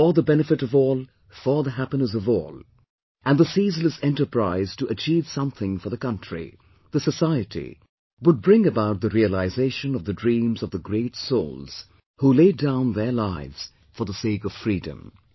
for the benefit of all, for the happiness of all, and the ceaseless enterprise to achieve something for the country, the society, would bring about the realisation of the dreams of the great souls who laid down their lives for the sake of Freedom